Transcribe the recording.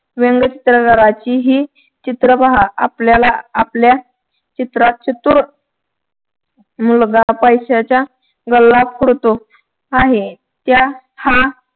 व्यंगचित्र काराची हि चित्र पहा आपल्याला आपल्या चित्रात चतुर मुलगा पैश्याचा गल्ला फोडतो आहे त्या हा